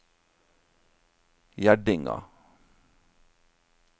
Gjerdinga